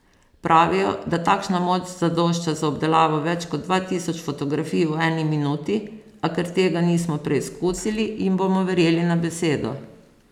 Pravijo, da takšna moč zadošča za obdelavo več kot dva tisoč fotografij v eni minuti, a ker tega nismo preizkusili, jim bomo verjeli na besedo.